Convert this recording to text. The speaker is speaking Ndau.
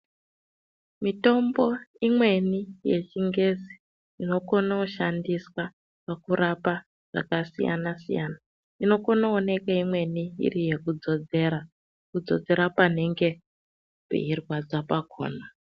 Mitombo imweni yechingezi inokone kushandiswa pakurapa zvakasiyana siyana inokone kuonekwe imweni iri yekudzodzera paanenge peirwadza pakona.